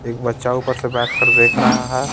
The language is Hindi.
एक बच्चा ऊपर से बैठ कर देख रहा है.